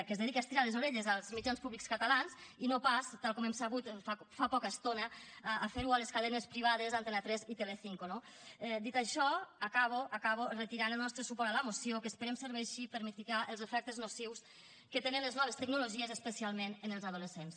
que es dediqui a estirar les orelles als mitjans públics catalans i no pas tal com hem sabut fa poca estona a fer ho a les cadenes privades antena tres i telecinco no dit això acabo acabo reiterant el nostre suport a la moció que esperem que serveixi per a mitigar els efectes nocius que tenen les noves tecnologies especialment en els adolescents